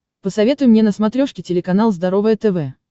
посоветуй мне на смотрешке телеканал здоровое тв